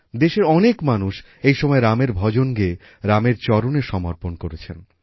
দেশের অনেক মানুষ এই সময় রামের ভজন গেয়ে রামের চরণে সমর্পণ করেছেন